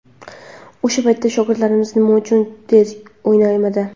O‘sha paytda shogirdlaringiz nima uchun tez o‘ynamadi?